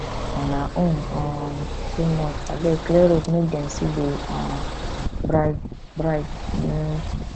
una own um too much abeg clear road make dem see the um bride bride um